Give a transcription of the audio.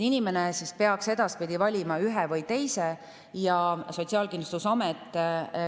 Inimene peaks edaspidi valima ühe või teise.